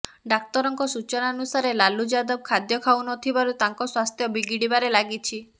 ଡାକ୍ତରଙ୍କ ସୂଚନାନୁସାରେ ଲାଲୁ ଯାଦବ ଖାଦ୍ୟ ଖାଉନଥିବାରୁ ତାଙ୍କ ସ୍ବାସ୍ଥ୍ୟ ବିଗିଡିବାରେ ଲାଗିଛି